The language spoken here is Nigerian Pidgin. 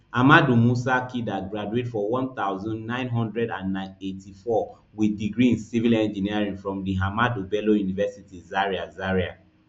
ahmadu musa kida graduate for one thousand, nine hundred and eighty-four wit degree in civil engineering from di ahmadu bello university zaria zaria